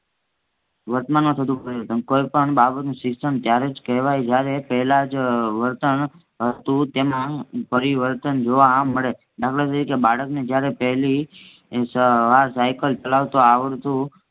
વર્તમાનમાં થતું પ્રયોધમ કોઈ પણ બાબતનું શિક્ષણ ત્યારે જ કહેવાય જયારે પહેલાજ વર્તન હતું તેમાં પરિવર્તન જોવા મળે દાખલા તરીકે બાળકને જયારે પેહલી સાયકલ ચલાવતા આવડતું